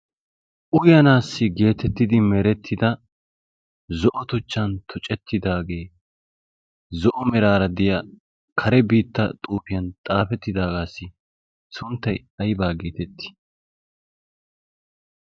uyanaassi geetettidi merettida zo'o tuchchan tucettidaagee zo'o meraara deya kare biitta xuufiyan xaafettidaagaassi sunttay aybaa geetettii?